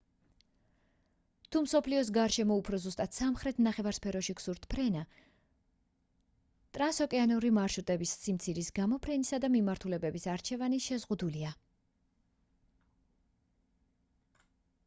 თუ მსოფლიოს გარშემო უფრო ზუსტად სამხრეთ ნახევარსფეროში გსურთ ფრენა ტრანსოკეანური მარშრუტების სიმცირის გამო ფრენისა და მიმართულებების არჩევანი შეზღუდულია